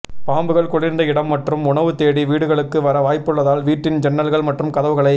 பாம்புகள் குளிர்ந்த இடம் மற்றும் உணவு தேடி வீடுகளுக்கு வர வாய்ப்புள்ளதால் வீட்டின் ஜன்னல்கள் மற்றும் கதவுகளை